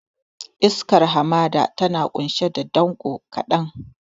Iskar hamada tana ƙunshe da danƙo kaɗan.